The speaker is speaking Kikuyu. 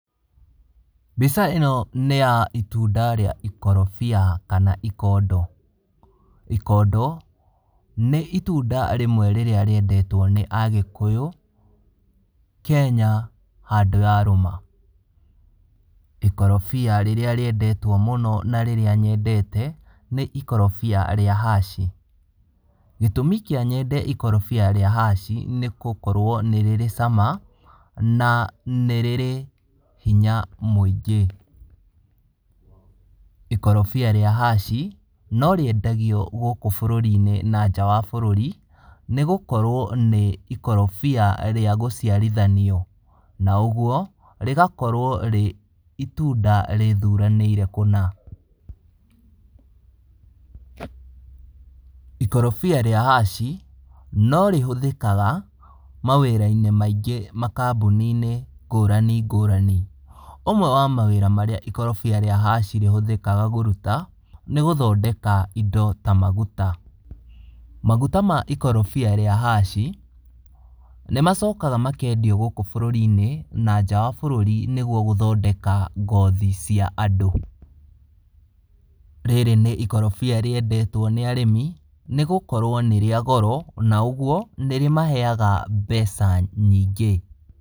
Mbica ĩno nĩya itunda rĩa ikorobia kana ikondo, ikondo, nĩ itunda rĩmwe rĩrĩa rĩendetwo nĩ agĩkuyũ, Kenya handũ yarũma. Ikorobia rĩrĩa rĩendetwo mũno, na rĩrĩa nyendete, nĩ ikorobia rĩa haci, gĩtũmi kĩa nyende ikorobia rĩa haci, nĩgũkorwo nĩ rĩrĩ cama, na nĩ rĩrĩ hinya mũingĩ. Ikorobia rĩa haci, no rĩendagio gũkũ bũrũrinĩ na nja wa bũrũrĩ, nĩgũkorwo nĩ ikorobia rĩa gũciarithanio. Na ũguo, rĩgakorwo rĩ itunda rĩthuranĩire kũna. Ikorobia rĩa haci, no rĩhũthikaga, mawĩrainĩ maingĩ makambuninĩ ngũrani ngũrani. Ũmwe wa mawĩra marĩa ikorobia rĩa haci rĩhũthĩkaga kũruta, nĩgũthondeka indo ta maguta. Maguta ma ikorobia rĩa haci, nĩmacokaga makendio gũkũ bũrũrinĩ, na nja wa bũrũri nĩguo gũthondeka ngothi cia andũ. Rĩrĩ nĩ ikorobia rĩendetwo nĩ arĩmi, nĩgũkorwo nĩrĩa goro, na ũguo nĩrĩmaheaga mbeca nyingĩ.